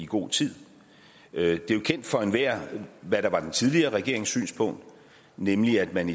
god tid det er jo kendt for enhver hvad der var den tidligere regerings synspunkt nemlig at man